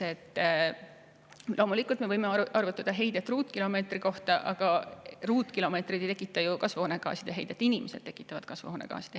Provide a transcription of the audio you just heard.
Loomulikult me võime arvutada heidet ruutkilomeetri kohta, aga ruutkilomeetrid ei tekita ju kasvuhoonegaaside heidet, vaid inimesed tekitavad.